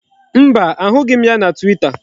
Mba, a hụghị m ya na Twita.